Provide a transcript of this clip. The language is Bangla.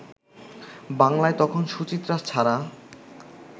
বাংলায় তখন সুচিত্রা ছাড়া